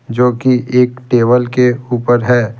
जो कि एक टेबल के ऊपर है।